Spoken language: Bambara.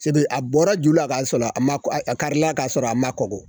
Sebe a bɔra ju la ka sɔrɔ a ma , a karila ka sɔrɔ a ma kɔgɔ.